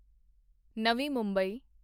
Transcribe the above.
ਨਵੀਂ ਮੁੰਬਈ